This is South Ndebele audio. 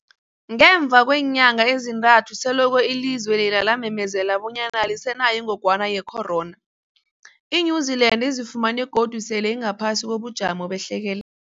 Ngemva kweenyanga ezintathu selokhu ilizwe lela lamemezela bonyana alisenayo ingogwana ye-corona, i-New-Zealand izifumana godu sele ingaphasi kobujamo behlekel